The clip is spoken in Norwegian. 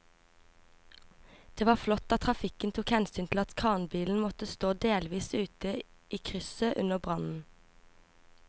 Det var flott at trafikken tok hensyn til at kranbilen måtte stå delvis ute i krysset under brannen.